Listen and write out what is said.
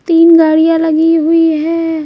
तीन गाड़ियां लगी हुई है।